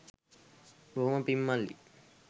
බොහොම පිං මල්ලී